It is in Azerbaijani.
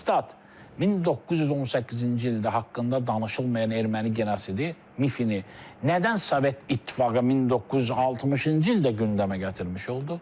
Stad, 1918-ci ildə haqqında danışılmayan erməni genosidi mifini nədən Sovet İttifaqı 1960-cı ildə gündəmə gətirmiş oldu?